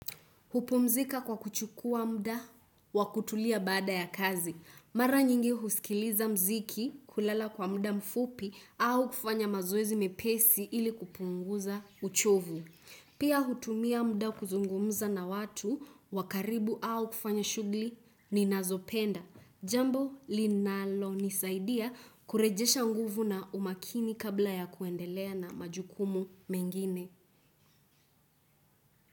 Upumzika kwa kuchukua muda wa kutulia baada ya kazi. Maranyingi husikiliza muziki kulala kwa mda mfupi au kufanya mazoezi mepesi ili kupunguza uchovu. Pia hutumia muda kuzungumuza na watu wa karibu au kufanya shughuli ninazopenda. Jambo linalonisaidia kurejesha nguvu na umakini kabla ya kuendelea na majukumu mengine.